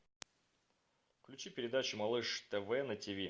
включи передачу малыш тв на тв